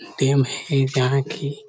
dam है जहाँ की--